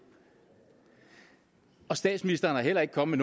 statsministeren er heller ikke kommet